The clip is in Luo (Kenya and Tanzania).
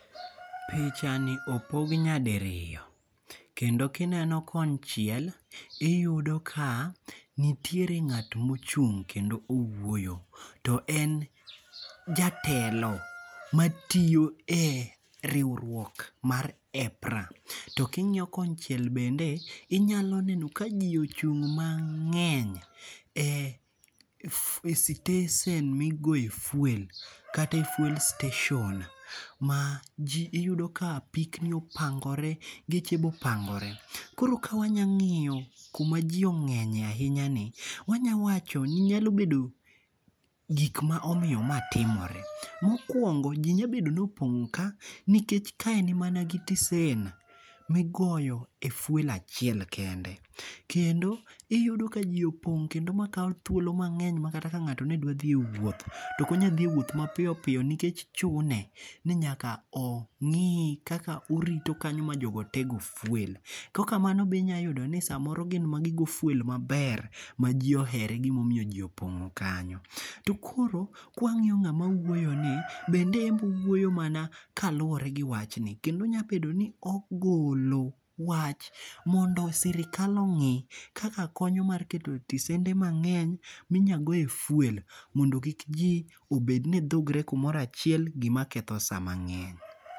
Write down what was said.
Picha ni opog nya diriyo. Kendo kineno konchiel iyudo ka nitiere ng'at mochung' kendo owuoyo. To en jatelo matiyo e riwruok mar EPPRA. To king'iyo konchiel bende inyalo neno ka ji ochung' mang'eny e sitesen migoye fuel kata e fuel station. Ma ji iyudo ka apikni opangore geche be opangore. Koro ka wanyang'iyo kuma ji ong'enye ahinya ni wanya wacho ni nyalobedo gik ma omiyo ma timore. Mokuongo ji nyabedo ni opong'o ka nikech ka en mana siteson migoye e fuel achiel kende. Kendo iyudo ka ji opong' kendo ma kaw thuolo mang'eny makata ka ng'ato ne dwa dhiye wuoth to ok onyal dhie e wuoth mapiyo piyo nikech chune ni nyak ongi kaka orito kanya ma jogo te go fuel. Kokamano bi inya yudo ni samoro gine ma gi go fuel maber ma ji ohere e gimomiyo ji opong'o kanyo. To koro kwang'iyo ng'ama wuoyo ni bende enbe owuoyo mana kaluwore gi wach ni kendo onyabedo ni ogolo wach mondo sirkal ong'i kaka konyo mar keto stesende mang'eny minya goye fuel mondo kik ji obed ni dhugore kumoro achiel gima ketho sa mang'eny.